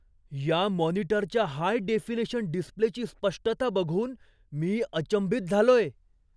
या मॉनिटरच्या high definition डिस्प्लेची स्पष्टता बघून मी अचंबित झालोय.